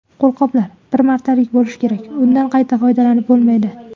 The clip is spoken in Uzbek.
Qo‘lqoplar bir martalik bo‘lishi kerak, undan qayta foydalanib bo‘lmaydi.